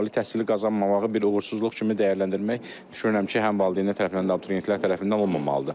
Ali təhsili qazanmamağı bir uğursuzluq kimi dəyərləndirmək düşünürəm ki, həm valideynlər tərəfindən, həm abituriyentlər tərəfindən olmamalıdır.